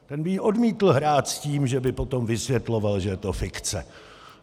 Ten by ji odmítl hrát s tím, že by potom vysvětloval, že je to fikce.